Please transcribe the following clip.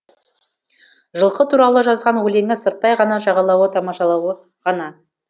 жылқы туралы жазған өлеңі сырттай ғана жағалауы тамашалауы ғана